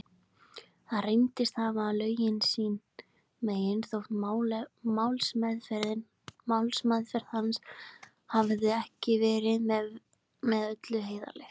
Hann reyndist hafa lögin sín megin, þótt málsmeðferð hans hefði ekki verið með öllu heiðarleg.